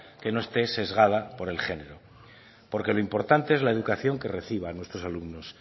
que no esté sesgada por el género porque lo importante es la educación que reciban nuestros alumnos